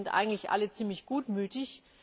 Wir sind eigentlich alle ziemlich gutmütig.